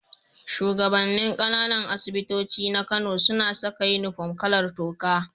Shugaban nin Kananan asibitoci na Kano suna Saka inufom kalar toka